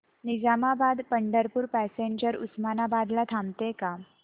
Nizamabad Pandharpur passenger Osmanabad ला थांबते का